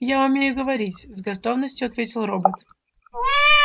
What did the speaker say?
я умею говорить с готовностью ответил робот